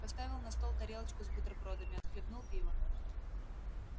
поставил на стол тарелочку с бутербродами отхлебнул пива